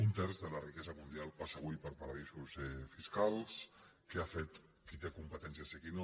un terç de la riquesa mundial passa avui per paradisos fiscals què ha fet qui té competències i qui no